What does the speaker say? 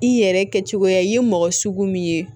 I yɛrɛ kɛcogoya ye mɔgɔ sugu min ye